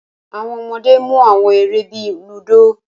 Awọn ọmọde mu awọn ere bii ludo